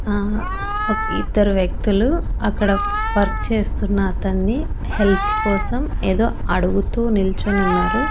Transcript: అహ్ ఓ ఇద్దరు వ్యక్తులు అక్కడ వర్క్ చేస్తున్న అతన్ని హెల్ప్ కోసం ఏదో అడుగుతూ నిల్చొనున్నారు.